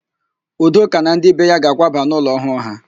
Udoka na ndị be ya ga-akwaba n'ụlọ ọhụụ ha.